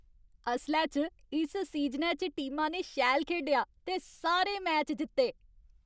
असलै च, इस सीजनै च टीमा ने शैल खेढेआ ते सारे मैच जित्ते।